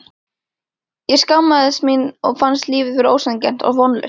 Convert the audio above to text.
Ég skammaðist mín og fannst lífið vera ósanngjarnt og vonlaust.